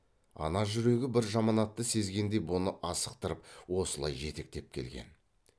ана жүрегі бір жаманатты сезгендей бұны асықтырып осылай жетектеп келген